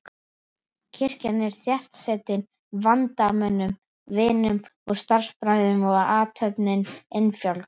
Kirkjan er þéttsetin vandamönnum, vinum og starfsbræðrum og athöfnin innfjálg.